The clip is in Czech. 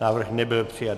Návrh nebyl přijat.